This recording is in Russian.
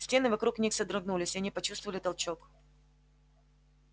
стены вокруг них содрогнулись и они почувствовали толчок